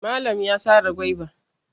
Malan ya sare gwaiba.